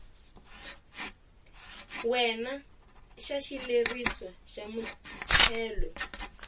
wena xa xileriso xa muthelo